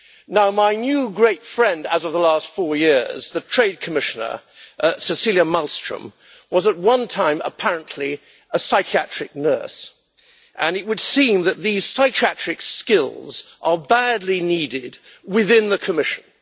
Now my new great friend as of the last four years, the Trade Commissioner Cecilia Malmström, was at one time apparently a psychiatric nurse, and it would seem that these psychiatric skills are badly needed within the Commission.